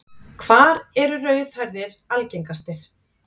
Hvar eru rauðhærðir algengastir?